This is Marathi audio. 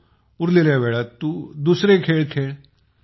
उरलेल्या वेळात दुसरे खेळ करत जा